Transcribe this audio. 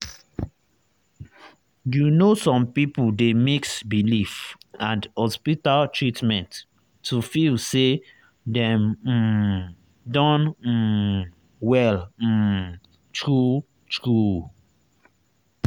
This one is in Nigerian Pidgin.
you know some people dey mix belief and hospital treatment to feel say dem um don um well um true true.